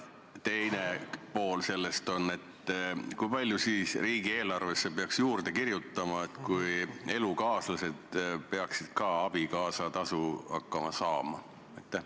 Teine pool küsimusest: kui palju peaks riigieelarvesse raha juurde kirjutama, kui elukaaslased peaksid ka hakkama abikaasatasu saama?